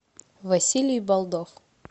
василий болдов